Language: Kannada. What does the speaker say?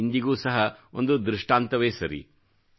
ಅದು ಇಂದಿಗೂ ಸಹ ಒಂದು ದೃಷ್ಟಾಂತವೇ ಸರಿ